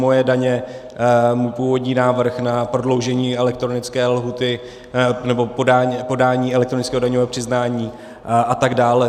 Moje daně můj původní návrh na prodloužení elektronické lhůty pro podání elektronického daňového přiznání, a tak dále.